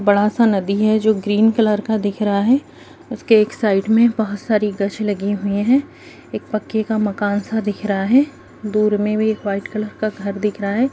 बड़ा-सा नदी है जो ग्रीन कलर का दिख रहा है उसके एक साइड में बहुत सारी गाछे लगी है एक पक्के का मकान सा दिख रहा है दूर मे भी एक व्हाइट कलर मकान दिख रहा है।